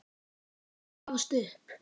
Hann gafst upp.